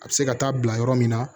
A bɛ se ka taa bila yɔrɔ min na